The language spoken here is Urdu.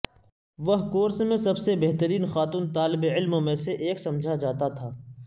وہ کورس میں سب سے بہترین خاتون طالب علموں میں سے ایک سمجھا جاتا تھا